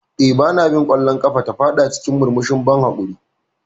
Eh, Ba na bin ƙwallon ƙafa, ta fada cikin murmushin ban haƙuri.